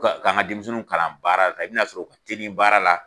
Ka nka denmisɛnninw kalan baara la, i bɛn 'a sɔrɔ u ka teli baara la.